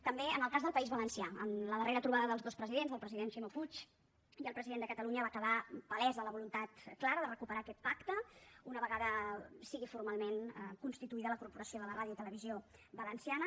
també en el cas del país valencià en la darrera trobada dels dos presidents del president ximo puig i el president de catalunya va quedar palesa la voluntat clara de recuperar aquest pacte una vegada sigui formalment constituïda la corporació de la ràdio i televisió valenciana